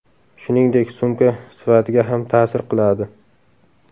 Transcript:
Shuningdek, sumka sifatiga ham ta’sir qiladi.